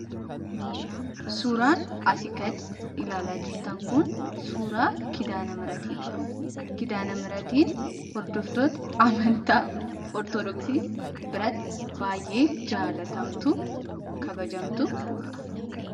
Suuraan asii gad ilaalaa jirtan kun suuraa Kidaana-mihratiidha. Kidaana-mihratiin hordoftoota amantaa Ortodoksii biratti baay'ee jaallatamtuu, kabajamtuu dha.